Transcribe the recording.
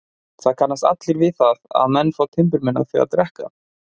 Það kannast allir við það að menn fá timburmenn af því að drekka.